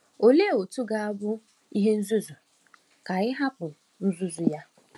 Olee otú ọ ga-abụ ihe nzuzu ka anyị hapụ nduzi ya?